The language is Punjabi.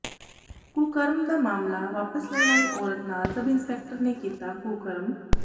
ਕੁਕਰਮ ਦਾ ਮਾਮਲਾ ਵਾਪਸ ਲੈਣ ਆਈ ਔਰਤ ਨਾਲ ਸਬ ਇੰਸਪੈਕਟਰ ਨੇ ਕੀਤਾ ਕੁਕਰਮ